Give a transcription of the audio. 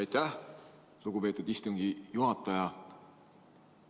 Aitäh, lugupeetud istungi juhataja!